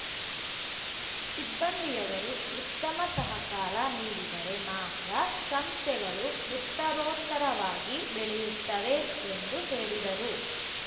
ಸಿಬ್ಬಂದಿಯವರು ಉತ್ತಮ ಸಹಕಾರ ನೀಡಿದರೆ ಮಾತ್ರ ಸಂಸ್ಥೆಗಳು ಉತ್ತರೋತ್ತರವಾಗಿ ಬೆಳೆಯುತ್ತವೆ ಎಂದು ಹೇಳಿದರು